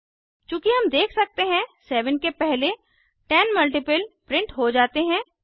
चूँकि हम देख सकते हैं 7 के पहले 10 मल्टीपल प्रिंट हो जाते हैं